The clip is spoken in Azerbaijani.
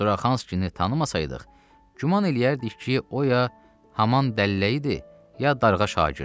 Suxanskini tanımasaydıq, güman eləyərdik ki, o ya haman dəlləyidir, ya darğa şagirdi.